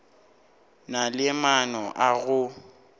na le maano a go